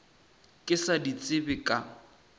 ka se di tsebe ka